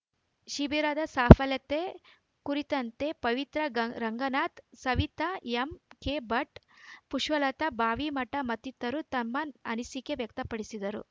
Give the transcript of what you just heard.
ಶಿಬಿರದ ಸಾಫಲ್ಯತೆ ಕುರಿತಂತೆ ಪವಿತ್ರಾ ಗಂ ರಂಗನಾಥ್‌ ಸವಿತಾ ಎಂಕೆಭಟ್‌ ಪುಷ್ಪಲತಾ ಬಾವಿಮಠ ಮತ್ತಿತರರು ತಮ್ಮ ಅನಿಸಿಕೆ ವ್ಯಕ್ತಪಡಿಸಿದರು